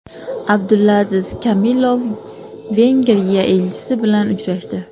Abdulaziz Kamilov Vengriya elchisi bilan uchrashdi.